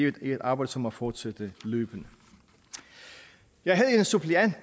er et arbejde som må fortsætte løbende jeg havde en suppleant